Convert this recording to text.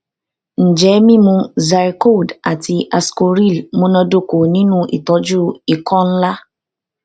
njẹ mimu zyrcold ati ascoril munadoko ninu itọju ikọ nla